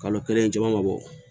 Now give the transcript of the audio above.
Kalo kelen caman ma bɔ